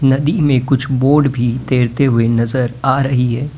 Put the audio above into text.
नदी में कुछ बोट भी तैरते हुए नजर आ रही है।